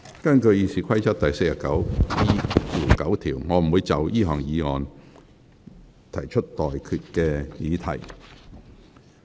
根據《議事規則》第 49E9 條，我不會就議案提出待決議題。